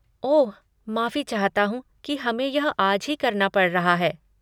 ओह, माफ़ी चाहता हूँ कि हमे यह आज ही करना पड़ रहा है।